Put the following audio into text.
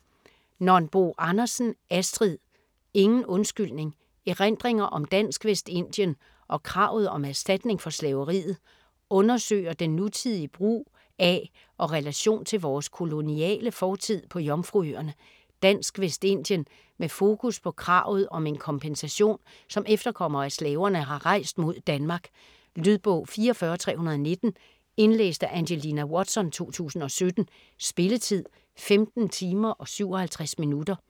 Nonbo Andersen, Astrid: Ingen undskyldning: erindringer om Dansk Vestindien og kravet om erstatninger for slaveriet Undersøger den nutidige brug af og relation til vores koloniale fortid på Jomfruøerne (Dansk Vestindien) med fokus på kravet om en kompensation, som efterkommere af slaverne har rejst mod Danmark. Lydbog 44319 Indlæst af Angelina Watson, 2017. Spilletid: 15 timer, 57 minutter.